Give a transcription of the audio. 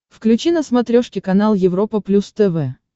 включи на смотрешке канал европа плюс тв